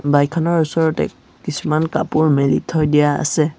Bike খনৰ ওচৰতে কিছুমান কাপোৰ মেলি থৈ দিয়া আছে।